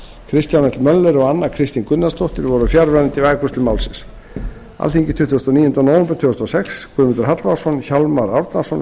kristján l möller og anna kristín gunnarsdóttir voru fjarverandi við afgreiðslu málsins undir nefndarálitið skrifuðu tuttugasta og níunda nóvember tvö þúsund og sex guðmundur hallvarðsson hjálmar árnason